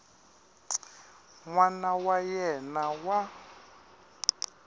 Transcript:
n wana wa yena wa